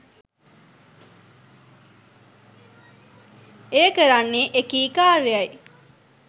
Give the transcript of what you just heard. එය කරන්නේ එකී කාර්යයි